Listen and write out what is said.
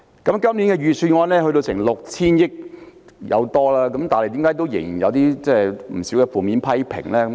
今年財政預算案開支超過 6,000 億元，但為何仍有不少負面批評呢？